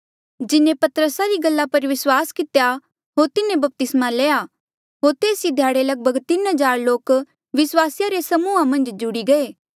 जिन्हें पतरसा री गल्ला पर विस्वास कितेया होर तिन्हें बपतिस्मा लया होर तेस ई ध्याड़े लगभग तीन हज़ार लोक विस्वासिया रे समूहा मन्झ जुड़ी गये